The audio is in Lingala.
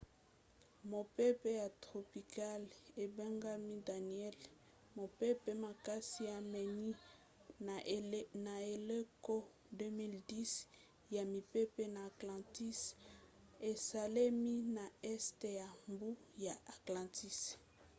mopepe ya tropicale ebengami daniellle mopepe makasi ya minei na eleko 2010 ya mipepe na atlantique esalemi na este ya mbu ya atlantique